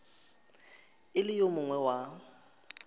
e le yo mongwe wa